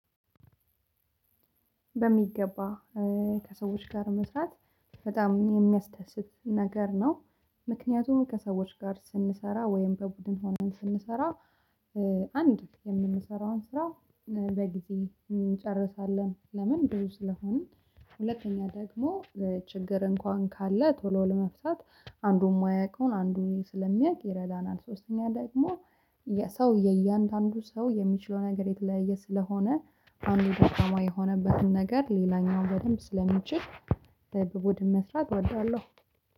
በሚገባ ከሰዎች ጋር መስራት በጣም የሚያስደስት ነገር ነው። ምክንያቱም ከሰዎች ጋር ስንሰራ ወይም በቡድን ሆነን ስንሰራ አንድ የምንሰራውን ስራ በጊዜ እንጨርሳለን። ለምን ብዙ ስለሆንን ሁለተኛ ደግሞ ችግር እንኳን ካለ ቶሎ ለመፍታት አንዱን ማያውቀውን አንዱን ስለሚያቅ ይረዳናል። ሶስተኛ ደግሞ የሰው የእያንዳንዱ ሰው የሚችለው ነገር የተለያየ ስለሆነ አንዱ ደካማ የሆነበትን ነገር ሌላኛው በደንብ ስለሚችል በቡድን መስራት እወዳለሁ